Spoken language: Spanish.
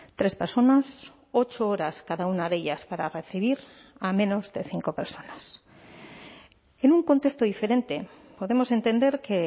tres personas ocho horas cada una de ellas para recibir a menos de cinco personas en un contexto diferente podemos entender que